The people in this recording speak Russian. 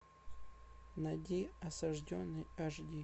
найди осажденный аш ди